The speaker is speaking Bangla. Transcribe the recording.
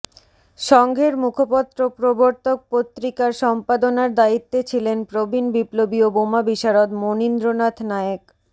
সংঘের মুখপত্র প্রবর্তক পত্রিকার সম্পাদনার দায়িত্বে ছিলেন প্রবীন বিপ্লবী ও বোমা বিশারদ মণীন্দ্রনাথ নায়েক